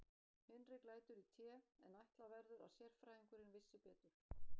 Hinrik lætur í té, en ætla verður að sérfræðingurinn vissi betur.